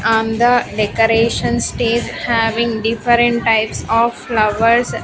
On the decoration states having different types of flowers.